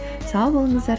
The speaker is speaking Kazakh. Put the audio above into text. сау болыңыздар